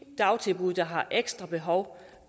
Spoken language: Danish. dagtilbud der har ekstra behov